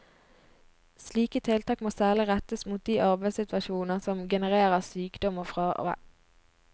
Slike tiltak må særlig rettes mot de arbeidssituasjoner som genererer sykdom og fravær.